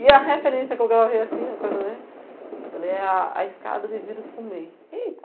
E a referência que eu gravei assim, uma coisa né, falei a a escada de vidro fumê. E